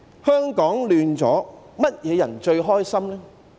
香港混亂，誰最開心呢？